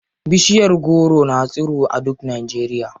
Bishiyar goro na tsirowa a duk Najeriya.